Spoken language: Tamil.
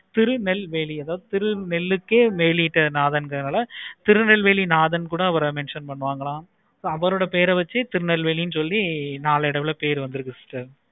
திருநெல்வேலி திரு நெல்லுக்கே வெளிட்டாங்கனாளே திருநெல்வேலி நாதன் கூட அவரை mention பண்ணுவாங்களா அவரோட பெயரை வச்சி திருநெல்வேலி நாளடைவில் பெயர் வந்துருக்கு sister